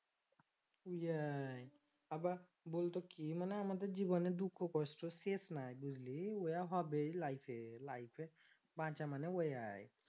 Y আবার বলতো কি মানে আমাদের জীবনে দুঃখ কষ্টের শেষ নাই বুঝলি ওয়াই হবে life বাঁচা মানে ওয়াই